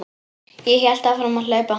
Ég hélt áfram að hlaupa.